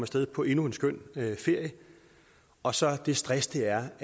sted på endnu en skøn ferie og så det stress det er